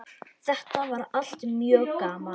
Þetta var allt mjög gaman.